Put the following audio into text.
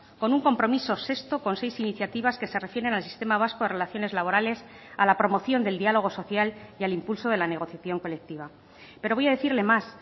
con un compromiso sexto con seis iniciativas que se refieren al sistema vasco de relaciones laborales a la promoción del diálogo social y al impulso de la negociación colectiva pero voy a decirle más